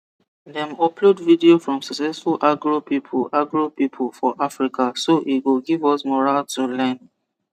dem upload video from successful agro people agro people for africa so e go give us morale to learn